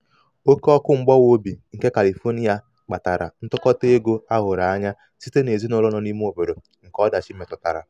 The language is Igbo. oke ọkụ mgbawa obi nke califonia kpatara ntụkọta ego a hụrụ anya site n'ezinụlọ nọ n'lme obodo nke ọdachi metụtara.